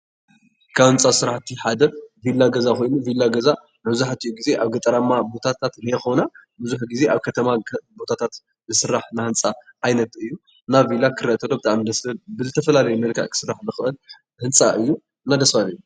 ካብ ህንፃ ስራሕቲ ሓደ ቪላ ገዛ ኾይኑ, ቪላ ገዛ መብዛሕትኡ ግዜ ኣብ ገጠራማ ቦታታት ዘይኾነ ብዙሕ ግዜ ኣብ ኸተማ ቦታታት ዝስራሕ ናይ ህንፃ ዓይነት እዩ። እና ቪላ ክርአ እንከሎ ብጣዕሚ ደስ ዝብል ብዝተፈላለየ መልክዕ ክስራሕ ዝኽእል ህንፃ እዩ። እና ደስ በሃሊ እዩ።